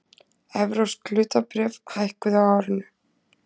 Evrópsk hlutabréf hækkuðu á árinu